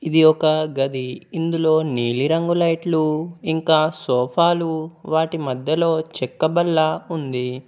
ఇది ఒక గది ఇందులో నీలి రంగు లైట్లు ఇంకా సోఫాలు వాటి మధ్యలో చెక్క బల్ల ఉంది.